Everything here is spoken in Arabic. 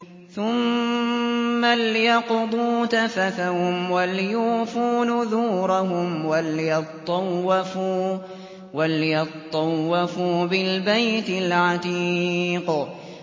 ثُمَّ لْيَقْضُوا تَفَثَهُمْ وَلْيُوفُوا نُذُورَهُمْ وَلْيَطَّوَّفُوا بِالْبَيْتِ الْعَتِيقِ